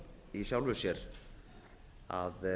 í sjálfu sér að